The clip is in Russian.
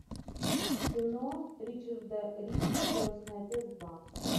кино ричарда рича крестный отец два